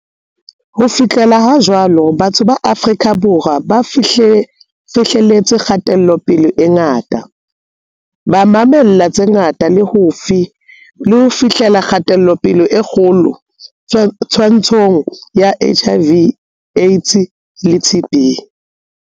Ho fihlela ha jwale, batho ba Afrika Borwa bafihleletse kgatelopele e ngata, ba ma-mella tse ngata le ho fihlella kgatelopele e kgolo twa-ntshong ya HIV, AIDS le TB.